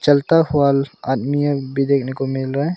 चलता आदमी एक भी देखने को मिल रहा है।